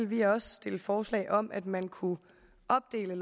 vi også stille forslag om at man kunne opdele